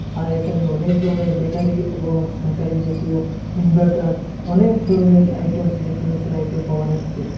আর এখানে অনেক ধরনের ব্যাটারি এবং ব্যাটারি জাতীয় ইনভার্টার অনেক ধরনের আইটেমস ইলেকট্রনিকসের আইটেম পাওয়া যাচ্ছে।